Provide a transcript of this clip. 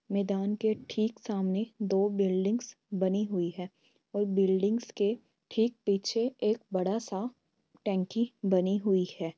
मैदान के ठीक सामने दो बिल्डिंग्स बनी हुई है और बिल्डिंग के ठीक पीछे एक बड़ा सा टंकी बनी हुई हैं।